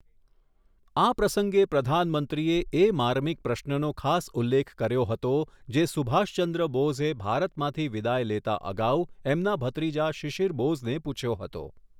આ પ્રસંગે પ્રધાનમંત્રીએ એ માર્મિક પ્રશ્રનો ખાસ ઉલ્લેખ કર્યો હતો, જે સુભાષચંદ્ર બોઝે ભારતમાંથી વિદાય લેતા અગાઉ એમના ભત્રીજા શિશિર બોઝને પૂછ્યો હતો.